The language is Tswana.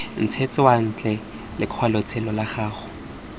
ntshetsa ntle lokwalotshelo lwa gago